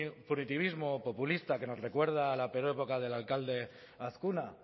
un punitivismo populista que nos recuerda la peor época del alcalde azkuna